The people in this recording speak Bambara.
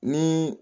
Ni